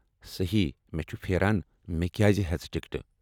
صحیٖح، مےٚ چھُ پھیران مےٚ کیٛاز ہٮ۪ژٕ ٹکٹہٕ۔